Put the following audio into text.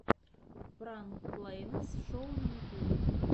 пранк клэйнес шоу на ютубе